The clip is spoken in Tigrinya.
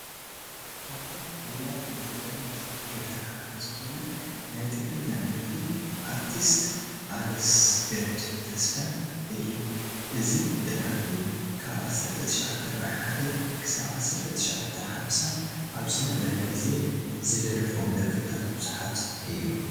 ካብቶም ውሩያት ሙዚቀኛታት ኤርትራ ሓደ ዝኾነ ናይ ትግርኛ ደራፊ ኣርቲስት ኣለሰገድ ተስፋይ እዩ፡፡ እዚ ደራፊ ካብ 1941-1950 ኣብ ዝነበረ ጊዜ ዝደረፎም ደርፍታ ብዙሓት እዮም፡፡